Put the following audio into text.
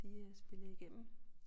De øh spillede igennem